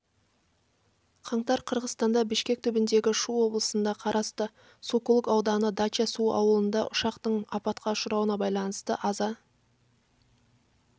қаңтар қырғыстанда бишкек түбіндегі шу облысына қарасты сокулук ауданы дача-суу ауылында ұшақтың апатқа ұшырауына байланысты аза